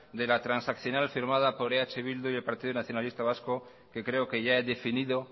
de la transaccional firmada por eh bildu y el partido nacionalista vasco que creo que ya he definido